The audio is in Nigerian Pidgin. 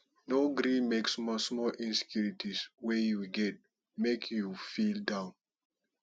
no gree make small small insecurities wey you get make you feel down